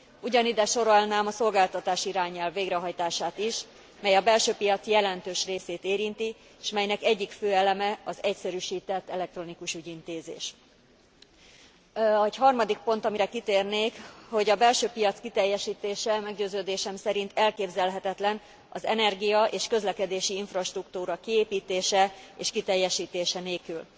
Ugyanide sorolnám a szolgáltatási irányelv végrehajtását is, mely a belső piac jelentős részét érinti, s melynek egyik fő eleme az egyszerűsített elektronikus ügyintézés. Egy harmadik pont, amire kitérnék, hogy a belső piac kiteljesítése meggyőződésem szerint elképzelhetetlen az energia és közlekedési infrastruktúra kiépítése és kiteljesítése nélkül.